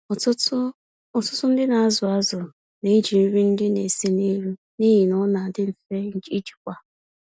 Ọtụtụ Ọtụtụ ndị nazụ azụ neji nri ndị na-ese n'elu, n'ihi na ọndị mfe ijikwa.